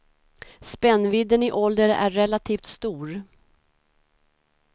Spännvidden i ålder är relativt stor.